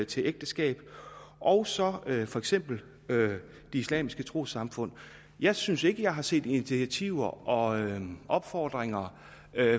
til ægteskab og så for eksempel de islamiske trossamfund jeg synes ikke at jeg har set initiativer og opfordringer